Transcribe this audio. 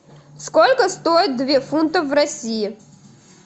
сколько стоит две фунтов в россии